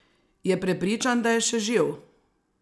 Je prepričan, da je še živ?